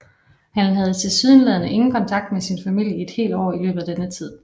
Han havde tilsyneladende ingen kontakt med sin familie i et helt år i løbet af denne tid